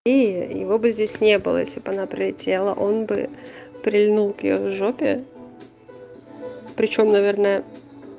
и его бы здесь не было если б она прилетела он бы прильнул к её жопе причём наверное